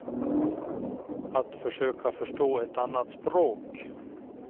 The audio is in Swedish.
Att försöka förstå ett annat språk.